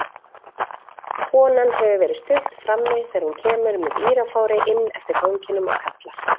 Konan hefur verið stutt frammi þegar hún kemur með írafári inn eftir ganginum og kallar